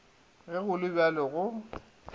ge go le bjalo go